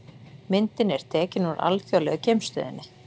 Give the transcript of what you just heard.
Myndin er tekin úr Alþjóðlegu geimstöðinni.